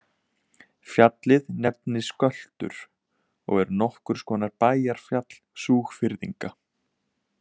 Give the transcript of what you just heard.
Fjallið nefnist Göltur og er nokkurs konar bæjarfjall Súgfirðinga.